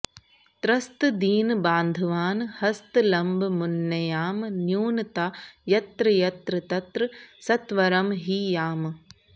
त्रस्तदीनबान्धवान् हस्तलम्बमुन्नयाम न्यूनता यत्र यत्र तत्र सत्वरं हि याम